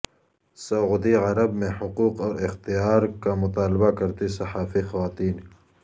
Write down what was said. سعودی عرب میں حقوق اور اختیار کا مطالبہ کرتی صحافی خواتین